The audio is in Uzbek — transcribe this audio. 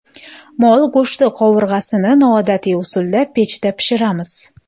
Mol go‘shti qovurg‘asini noodatiy usulda pechda pishiramiz.